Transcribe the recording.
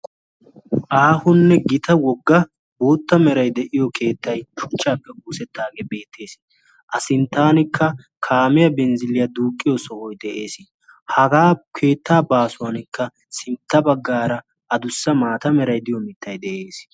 Aahonne gita wogga bootta meray de'iyo keettay shuchchaappe oosettaagee beettees. a sinttanikka kaameyaa benzziiliyaa duuqqiyo sohoi de'ees. hagaa keettaa baasuwankka sintta baggaara adussa maata meray diyo mittai de'ees.